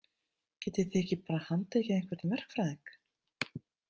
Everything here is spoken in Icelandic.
Getið þið ekki bara handtekið einhvern verkfræðing?